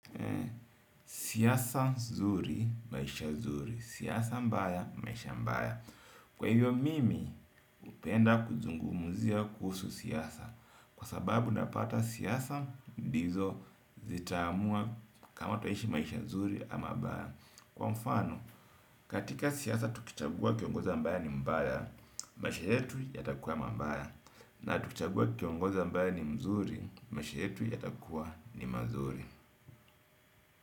Siasa zuri, maisha zuri. Siyasa mbaya maisha mbaya. Kwahiyo mimi upenda kuzungumzia kuhusu siasa. Kwa sababu napata siasa, ndizo zitaamua kama twaishi maisha nzuri ama mbaya. Kwa mfano, katika siasa tukichagua kiongozi ambaye ni mbaya maisha yetu yatakuwa mabaya. Na tukitagua kiongoza mbaya ni mzuri, maisha yetu ya takuwa ni mazuri.